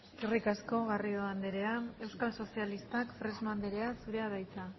eskerrik asko garrido andrea euskal sozialistak fresno andrea zurea da hitza